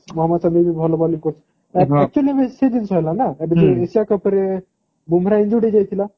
ମହମଦ ସାମୀ ବି ଭଲ bowling କରୁଛନ୍ତି actually ସେଇ ଜିନିଷ ହେଲାନା ଉପରେ ବୃମା injure ହେଇଯାଇଥିଲା